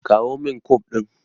Kawo min Kum ɗina.